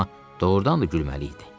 Amma doğurdan da gülməli idi.